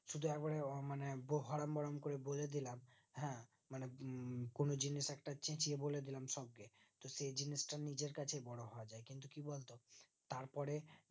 সেটা করে মানে বোহারাম হারাম করে বলে দিলাম হ্যাঁ মানে কোনো জিনিস একটা চেচিয়ে বলে দিলাম সব সেই জিনিস টা নিজের কাছে বড়ো হয় কিন্তু কি বলতো তার পরে